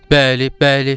Bəli, bəli.